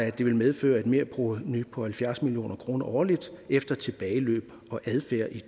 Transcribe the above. at det vil medføre et merprovenu på halvfjerds million kroner årligt efter tilbageløb og adfærd i